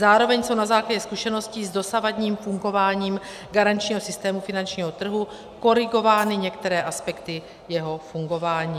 Zároveň jsou na základě zkušeností s dosavadním fungováním garančního systému finančního trhu korigovány některé aspekty jeho fungování.